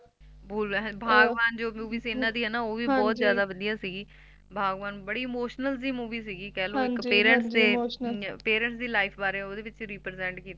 ਬਾਗਬਾਨ ਜੋਂ Movie ਸੀ ਇਹਨਾਂ ਦੀ ਓਹ ਬਹੁਤ ਜਾਦਾ ਵਦੀਆ ਸੀਗੀ ਬਾਗਵਾਨ ਬੜੀ Emotional ਜੀ Movie ਸੀਗੀ ਕਹਿਲੋ ਇਕ Parents Life ਵਾਰੇ ਓਹਦੇ ਵਿੱਚ Represent ਕੀਤਾ